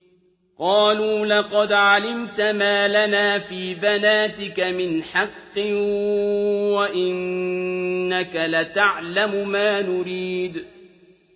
قَالُوا لَقَدْ عَلِمْتَ مَا لَنَا فِي بَنَاتِكَ مِنْ حَقٍّ وَإِنَّكَ لَتَعْلَمُ مَا نُرِيدُ